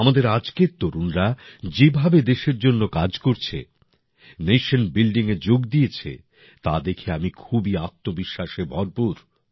আমাদের আজকের তরুণরা যেভাবে দেশের জন্য কাজ করছে নেশন বিল্ডিং এ যোগ দিয়েছে তা দেখে আমি খুবই আত্মবিশ্বাসে ভরপুর